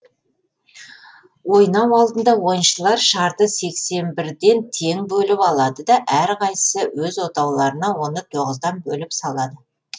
ойнау алдында ойыншылар шарды сексен бірден тең бөліп алады да әр қайсысы өз отауларына оны тоғыздан бөліп салады